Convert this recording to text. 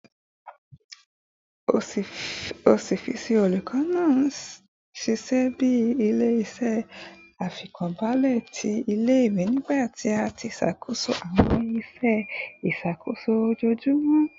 Ọfiisi olukọ naa n ṣiṣẹ bi ile-iṣẹ aifọkanbalẹ ti ile-iwe, nibiti a ti ṣakoso awọn iṣẹ iṣakoso ojoojumọ